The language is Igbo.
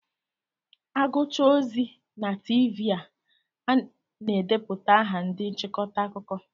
Aguchaa ozi na Tiivii a na-edeputa aha ndị nchịkọta akụkọ.